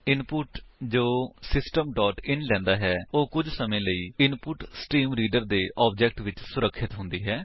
input ਜੋ system dot in ਲੈਂਦਾ ਹੈ ਉਹ ਕੁੱਝ ਸਮੇ ਲਈ ਇਨਪੁਟਸਟ੍ਰੀਮਰੀਡਰ ਦੇ ਆਬਜੇਕਟ ਵਿੱਚ ਸੁਰਖਿਅਤ ਹੁੰਦੀ ਹੈ